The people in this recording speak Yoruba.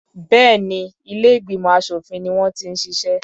Béèni ilé ìgbìmọ̀ aṣòfin ni wọ́n ti ń ṣiṣẹ́.